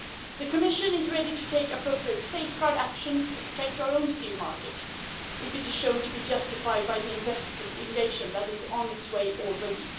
The Commission is ready to take an appropriate safeguard action to protect our own steel market if it is shown to be justified by the investigation that is underway already.